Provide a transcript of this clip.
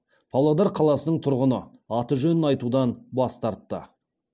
павлодар қаласының тұрғыны аты жөнін айтудан бас тартты